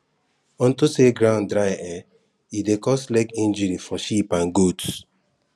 onto say ground dry[um]e dey cause leg injury for sheep and goats